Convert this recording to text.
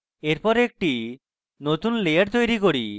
এরপর একটি নতুন layer তৈরী করুন